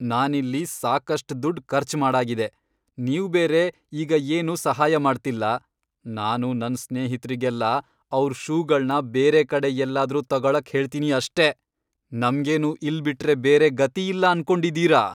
ನಾನಿಲ್ಲಿ ಸಾಕಷ್ಟ್ ದುಡ್ಡ್ ಖರ್ಚ್ ಮಾಡಾಗಿದೆ. ನೀವ್ಬೇರೆ ಈಗ ಏನೂ ಸಹಾಯ ಮಾಡ್ತಿಲ್ಲ, ನಾನು ನನ್ ಸ್ನೇಹಿತ್ರಿಗೆಲ್ಲ ಅವ್ರ್ ಷೂಗಳ್ನ ಬೇರೆ ಕಡೆ ಎಲ್ಲಾದ್ರೂ ತಗೊಳಕ್ ಹೇಳ್ತೀನಿ ಅಷ್ಟೇ.. ನಮ್ಗೇನು ಇಲ್ಬಿಟ್ರೆ ಬೇರೆ ಗತಿ ಇಲ್ಲ ಅನ್ಕೊಂಡಿದೀರಾ?!